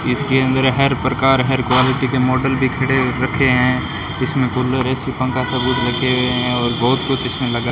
इसके अंदर हर प्रकार हर क्वालिटी के मॉडल भी खड़े रखे हैं इसमें कूलर ए_सी पंखा सब कुछ रखे हुए है और बहोत कुछ इसमें लगा --